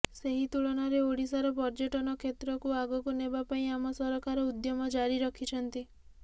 ସେହି ତୁଳନାରେ ଓଡ଼ିଶାର ପର୍ଯ୍ୟଟନ କ୍ଷେତ୍ରକୁ ଆଗକୁ ନେବା ପାଇଁ ଆମ ସରକାର ଉଦ୍ୟମ ଜାରି ରଖିଛନ୍ତି